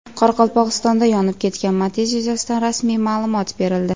Qoraqalpog‘istonda yonib ketgan Matiz yuzasidan rasmiy ma’lumot berildi .